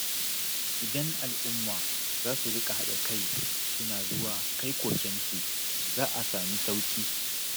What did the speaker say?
Idan al'umma za su riƙa haɗa kai suna zuwa kai kokensu, za a sami sauƙi.